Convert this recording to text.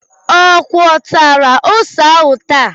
Ọ gwakọtara ose ahu taa